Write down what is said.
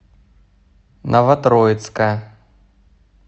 новотроицка